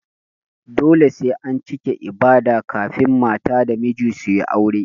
Dole sai an cike ibada kafun mata da miji suyi aure